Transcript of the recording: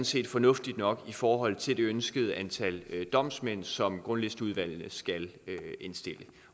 set fornuftigt nok i forhold til det ønskede antal domsmænd som grundlisteudvalgene skal indstille